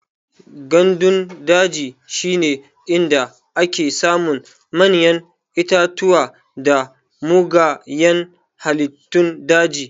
Gandun daji shine inda ake samun manyan itatuwa da mugayan halittun daji.